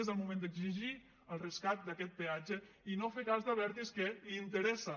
és el moment d’exigir el rescat d’aquest peatge i no fer cas d’abertis que li interessa